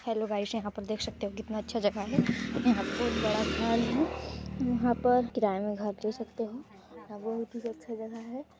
Hello guys यहां पर देख सकते हैं कितना अच्छा जगह है यहां बहुत बड़ा घर है यहां पर किराए में घर दे सकते हो यहां बहुत ही अच्छा जगह है।